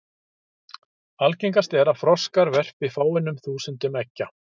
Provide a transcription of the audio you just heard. Algengast er að froskar verpi fáeinum þúsundum eggja.